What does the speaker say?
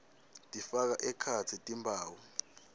tifaka ekhatsi timphawu